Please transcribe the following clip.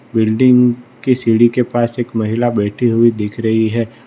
Building की सीढ़ी के पास एक महिला बैठी हुई दिख रही है।